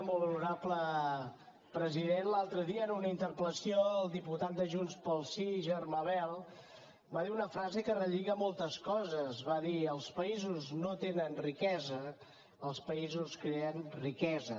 molt honorable president l’altre dia en una interpellació el diputat de junts pel sí germà bel va dir una frase que relliga moltes coses va dir els països no tenen riquesa els països creen riquesa